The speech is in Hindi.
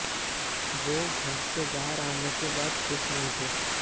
वो घर से बाहर आने के बाद खुश नहीं थे